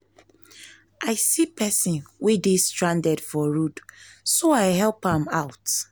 i see person wey dey stranded for road so i help am out